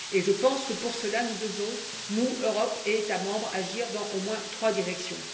Je pense que, pour cela, nous devons, nous, Europe et États membres, agir, dans au moins trois directions.